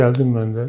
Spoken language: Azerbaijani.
Gəldik mən də.